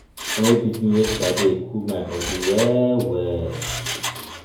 dat rain wey beat me yesterday cool my bodi well-well.